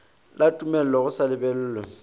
la tumello go sa lebellwe